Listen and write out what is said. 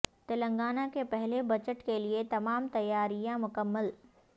تلنگا نہ کے پہلے بجٹ کیلئے تما م تیا ر یا ں مکمل